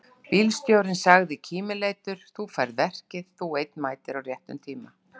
Bílstjórinn sagði kímileitur: Þú færð verkið, þú einn mætir á réttum tíma!